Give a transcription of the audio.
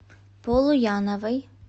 полуяновой